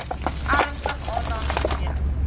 ernstig aandag gegee